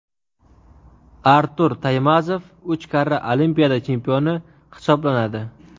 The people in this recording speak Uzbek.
Artur Taymazov uch karra Olimpiada chempioni hisoblanadi.